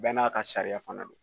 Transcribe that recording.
bɛɛ n'a ka sariya fana don